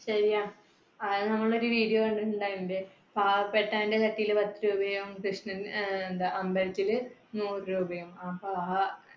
ശരിയാ നമ്മൾ ഒരു video കണ്ടിട്ട് ഉണ്ടായിരുന്നില്ലേ? പാവപ്പെട്ടവന്‍ടെ പത്തു രൂപയും കൃഷ്ണൻ അഹ് എന്താ അമ്പലത്തില്, നൂറു രൂപയോ